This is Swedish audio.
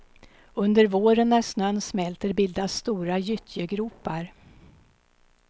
Under våren när snön smälter bildas stora gyttjegropar.